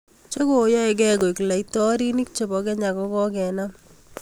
chekoyoekei kuek laitorinik chebo Kenya kokokenam